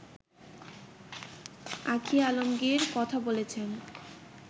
আঁখি আলমগীর কথা বলেছেন